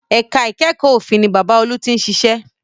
Ẹ̀ka ìkẹ́kọ̀ọ́ òfin ni Bàbá olú tí ń ṣiṣẹ́